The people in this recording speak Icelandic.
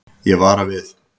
Ég vara við.